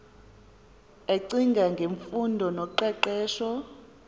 ecinga ngemfundo noqeqesho